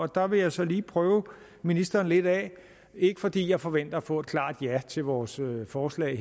der vil jeg så lige prøve ministeren lidt af ikke fordi jeg forventer at få et klart ja til vores forslag